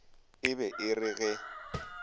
e be e re ge